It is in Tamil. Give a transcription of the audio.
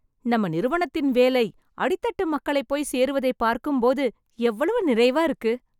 நம்ம நிறுவனத்தின் வேலை அடித்தட்டு மக்களை போய் சேருவதை பார்க்கும் போது எவ்வளவு நிறைவா இருக்கு!